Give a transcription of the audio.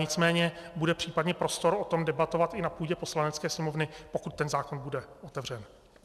Nicméně bude případně prostor o tom debatovat i na půdě Poslanecké sněmovny, pokud ten zákon bude otevřen.